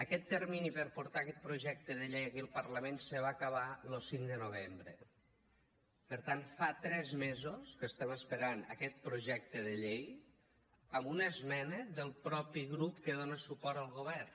aquest termini per portar aquest projecte de llei aquí al parlament se va acabar lo cinc de novembre per tant fa tres mesos que estem esperant aquest projecte de llei amb una esmena del mateix grup que dona suport al govern